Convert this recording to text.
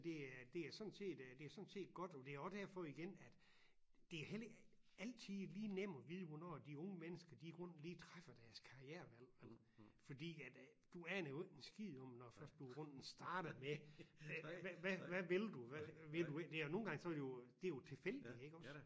Ja men altså det er det er sådan set øh det er sådan set godt det jo også derfor igen at det er heller ikke altid lige nemt at vide hvornår de unge mennesker de i grunden lige træffer deres karrierevalg vel fordi at du aner jo ikke en skid om når først du i grunden starter med hvad vil du vil du ind der nogle gange så vil du det jo tilfældigt iggås